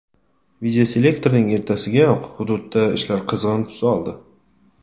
Videoselektorning ertasigayoq hududda ishlar qizg‘in tus oldi.